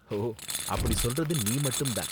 ஓ, அப்படி சொல்றது நீ மட்டும் தான்!